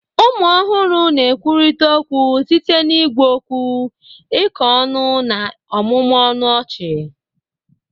Ụmụ ọhụrụ na-ekwurịta okwu site n'ịgwa okwu, ịka ọnụ, na ịmụmụ ọnụ ọchị.